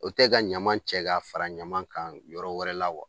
O tɛ ka ɲaman cɛ k'a fara ɲaman kan yɔrɔ wɛrɛ la wa?